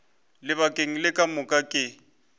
lebakeng le ka moka ke